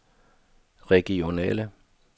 regionale